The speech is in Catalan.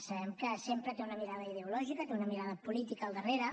sabem que sempre té una mirada ideològica té una mirada política al darrere